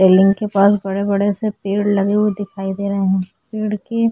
railing के पास बड़े बड़े से पेड़ दिखाई दे रहे है पेड़ के --